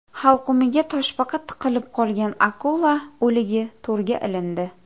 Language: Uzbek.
Halqumiga toshbaqa tiqilib qolgan akula o‘ligi to‘rga ilindi .